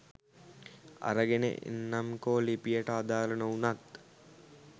අරගෙන එන්නම්කෝ ලිපියට අදාල නොවුනත්